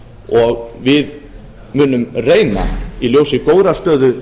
og við munum reyna í ljósi góðrar stöðu